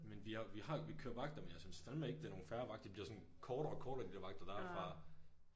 Men vi har vi har jo vi kører vagter men jeg synes fandme ikke det er nogle fair vagter de bliver sådan kortere og kortere de der vagter der fra